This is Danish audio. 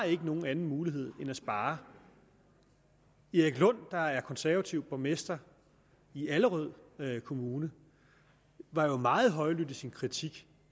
ikke nogen anden mulighed end at spare erik lund der er konservativ borgmester i allerød kommune var jo meget højlydt i sin kritik